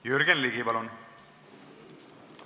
Jürgen Ligi, palun!